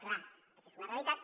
clar això és una realitat